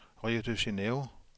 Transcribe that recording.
Rio de Janeiro